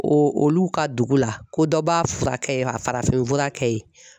O olu ka dugu la ko dɔ b'a furakɛ yen, a farafinfura kɛ yen